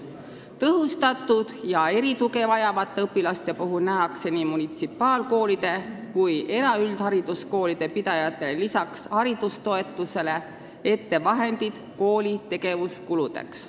Tõhustatud tuge ja erituge vajavate õpilaste puhul nähakse nii munitsipaalkoolide kui ka eraüldhariduskoolide pidajatele lisaks haridustoetusele ette vahendid kooli tegevuskuludeks.